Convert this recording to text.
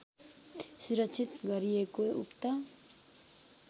सुरक्षित गरिएको उक्त